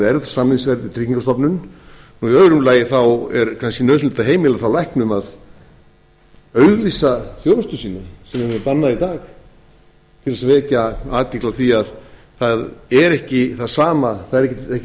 samningsverð fyrir tryggingastofnun og í öðru lagi þá er kannski nauðsynlegt að heimila þá læknum að auglýsa þjónustu sína sem er bannað í dag til þess að vekja athygli á því að það er ekki